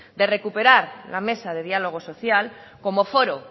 de recuperar la mesa de diálogo social como foro